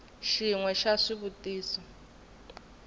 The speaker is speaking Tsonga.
xin we xa swivutiso swo